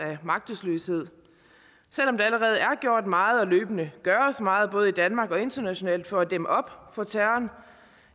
af magtesløshed selv om der allerede er gjort meget og løbende gøres meget både i danmark og internationalt for at dæmme op for terroren